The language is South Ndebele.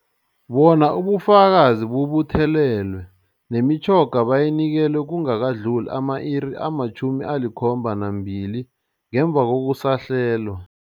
Bona ubufakazi bubuthelelwe, nemitjhoga bayinikelwe kungakadluli ama-iri ama-72 ngemva kokusahlelwa.